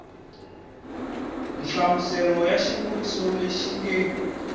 nhlamuselo ya xivuriso lexi nge